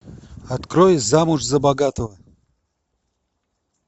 открой замуж за богатого